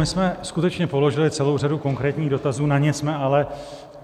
My jsme skutečně položili celou řadu konkrétních dotazů, na ně jsme ale